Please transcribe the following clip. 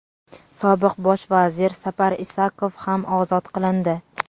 sobiq Bosh vazir Sapar Isakov ham ozod qilindi.